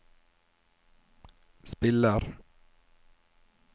spiller